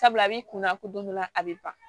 Sabula a b'i kunna ko don dɔ la a bɛ ban